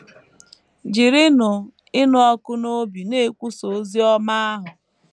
Jirinụ Ịnụ Ọkụ n’Obi Na - ekwusa Ozi Ọma Ahụ